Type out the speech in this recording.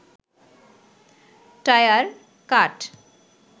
tyre, কাঠ